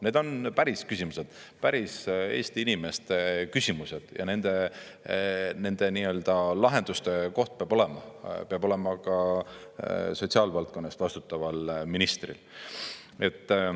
Need on päris küsimused, päris Eesti inimeste küsimused, ja nende lahenduste koht peab olema ka sotsiaalvaldkonna eest vastutaval ministril.